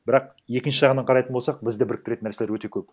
бірақ екінші жағынан қарайтын болсақ бізді біріктіретін нәрселер өте көп